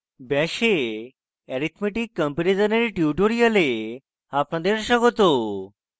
bash এ arithmetic comparison এর tutorial আপনাদের স্বাগত